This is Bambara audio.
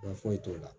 foyi t'o la